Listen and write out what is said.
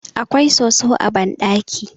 awkai soso a banɗaki